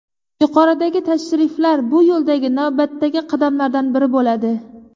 Yuqoridagi tashriflar bu yo‘ldagi navbatdagi qadamlardan biri bo‘ladi.